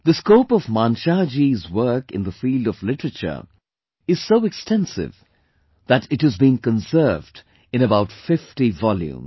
The scope of Manshah ji's work in the field of literature is so extensive that it has been conserved in about 50 volumes